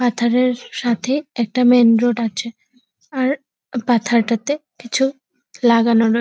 পাথরের সাথে একটা মেন রোড আছে আর পাথরটাতে কিছু লাগানো রয় --